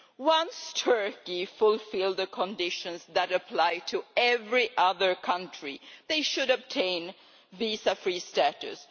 Once Turkey fulfils the conditions that apply to every other country, they should obtain visa free status.